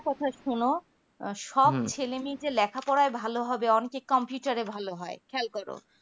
আরেকটা কথা শুনো সবছেলে যে লেখাপড়ায় যে ভালো হবে অনেকেই computer এ ভালো হয় খেয়াল করো